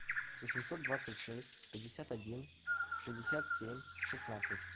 восемьсот двадцать шесть пятьдесят один шестьдесят семь шестнадцать